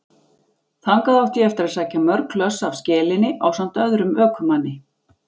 Þangað átti ég eftir að sækja mörg hlöss af skelinni ásamt öðrum ökumanni.